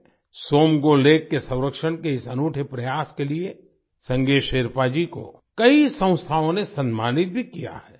Tsomgo Somgo lake के संरक्षण के इस अनूठे प्रयास के लिए संगे शेरपा जी को कई संस्थाओं ने सम्मानित भी किया है